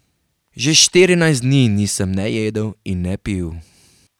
Že štirinajst dni nisem ne jedel in ne pil.